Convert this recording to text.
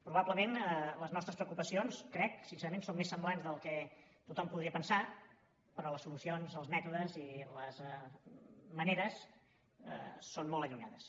probablement les nostres preocupacions ho crec sincerament són més semblants del que tothom podria pensar però les solucions els mètodes i les maneres són molt allunyades